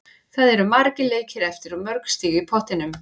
Það eru margir leikir eftir og mörg stig í pottinum.